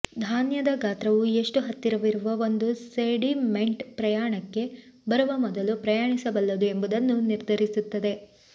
ಧಾನ್ಯದ ಗಾತ್ರವು ಎಷ್ಟು ಹತ್ತಿರವಿರುವ ಒಂದು ಸೆಡಿಮೆಂಟ್ ಪ್ರಯಾಣಕ್ಕೆ ಬರುವ ಮೊದಲು ಪ್ರಯಾಣಿಸಬಲ್ಲದು ಎಂಬುದನ್ನು ನಿರ್ಧರಿಸುತ್ತದೆ